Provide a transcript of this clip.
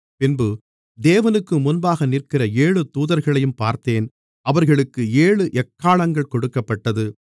பின்பு தேவனுக்குமுன்பாக நிற்கிற ஏழு தூதர்களையும் பார்த்தேன் அவர்களுக்கு ஏழு எக்காளங்கள் கொடுக்கப்பட்டது